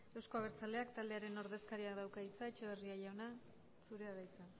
euzko abertzaleak taldearen ordezkariak dauka hitza etxeberria jauna zurea da hitza